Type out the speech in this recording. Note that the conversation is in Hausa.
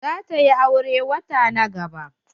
Za ta yi aure wata na gaba.